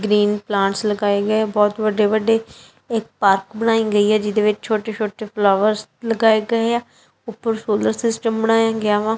Green plants ਲਗਾਏ ਗਏ ਬਹੁਤ ਵੱਡੇ ਵੱਡੇ ਇੱਕ ਪਾਰਕ ਬਣਾਈ ਗਈ ਹੈ ਜਿਹਦੇ ਵਿੱਚ ਛੋਟੇ ਛੋਟੇ ਫਾਲੋਅਰਸ ਲਗਾਏ ਗਏਆ ਉਪਰ ਸੋਲਰ ਸਿਸਟਮ ਬਣਾਇਆ ਗਿਆ ਵਾ।